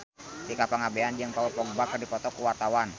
Tika Pangabean jeung Paul Dogba keur dipoto ku wartawan